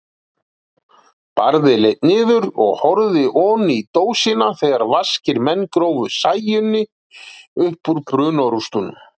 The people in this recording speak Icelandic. Barði leit niður og horfði oní dósina þegar vaskir menn grófu Sæunni uppúr brunarústunum.